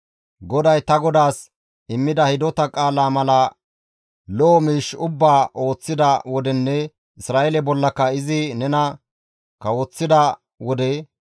GODAY ta godaas immida hidota qaalaa mala lo7o miish ubbaa ooththida wodenne Isra7eele bollaka izi nena kawoththida wode,